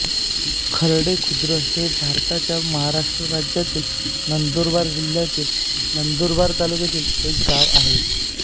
खरडे खुर्द हे भारताच्या महाराष्ट्र राज्यातील नंदुरबार जिल्ह्यातील नंदुरबार तालुक्यातील एक गाव आहे